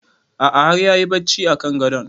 A'a har yayi barci a kan gadon